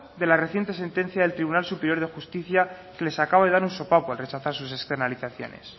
de la reciente sentencia del tribunal superior de justicia que les acaba de dar un sopapo al rechazar sus externalizaciones